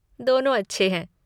दोनों अच्छे हैं।